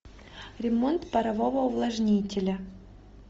ремонт парового увлажнителя